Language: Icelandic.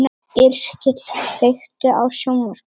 Yrkill, kveiktu á sjónvarpinu.